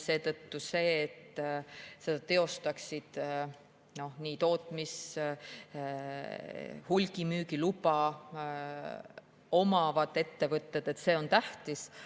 Seetõttu on see, et seda teostaksid nii tootmis‑ kui ka hulgimüügiluba omavad ettevõtted, tähtis.